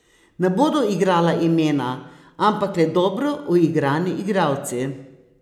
Ne bodo igrala imena, ampak le dobro uigrani igralci.